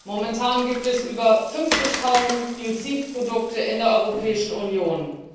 Momentan gibt es über 50000 Biozidprodukte in der Europäischen Union.